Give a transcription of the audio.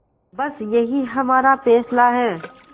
बस यही हमारा फैसला है